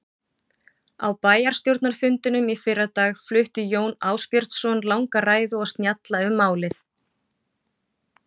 Á bæjarstjórnarfundinum í fyrradag flutti Jón Ásbjörnsson langa ræðu og snjalla um málið.